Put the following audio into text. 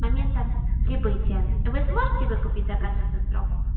с момента прибытия вы сможете выкупить заказ за этот срок